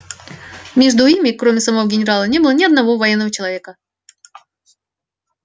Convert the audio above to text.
между ими кроме самого генерала не было ни одного военного человека